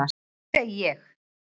Svo ég segi: